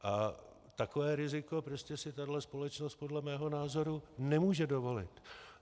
A takové riziko prostě si tahle společnost podle mého názoru nemůže dovolit.